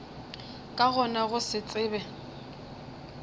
ka gona go se tsebe